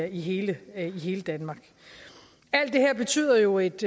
i hele danmark alt det her betyder jo et